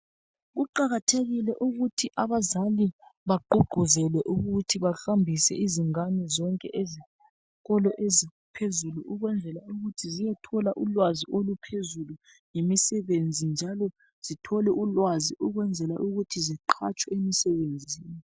Kuqakathekile ukuthi abazali bagqugquzele ukuthi bahambise izingane zonke ezikolo eziphezulu ukwenzela ukuthi ziyethola ulwazi oluphezulu ngemisebenzi njalo zithole ulwazi ukuthi ziqhatswe emsebenzini.